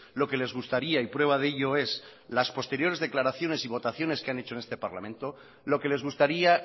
lo que les gustaría y prueba de ello es las posteriores declaraciones y votaciones que han hecho en este parlamento lo que les gustaría